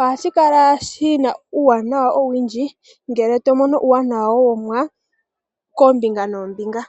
,ohashikala shina uuwanawa owundji ngele tomono uuwanawa womuwa koombinga noombinga.